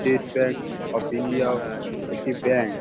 State Bank of India একটি bank.